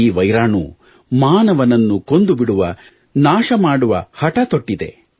ಈ ವೈರಾಣು ಮಾನವನನ್ನು ಕೊಂದು ಬಿಡುವ ನಾಶ ಮಾಡುವ ಹಠ ತೊಟ್ಟಿದೆ